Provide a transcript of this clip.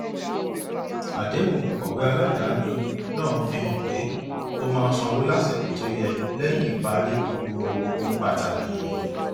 àdéhùn òǹkọwé aládàáni náà fi hàn pé ó máa sanwó lásìkò tó yẹ lẹyìn parí gbogbo ohun pàtàkì